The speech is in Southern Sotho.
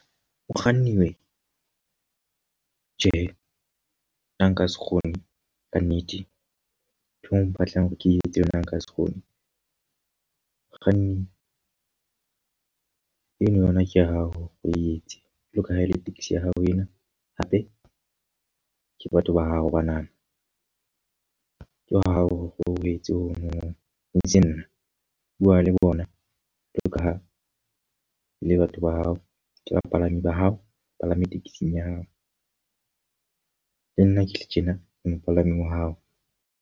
Mokganni we! Tjhe, nna nka se kgone ka nnete. Ntho o mpatlang hore ke etse yona nka se kgone. Mokganni, eno yona ke ya hao o etse. Jwalo ka ha ele tekesi ya hao ena, hape ke batho ba hao ba na na. Ke wa hao o etse o mong eseng nna. Bua le bona jwalo ka ha le batho ba hao ke bapalami ba hao ba palame taxi-ng ya hao. Le nna ke le tjena ke mopalami wa hao.